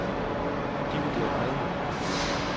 divideret med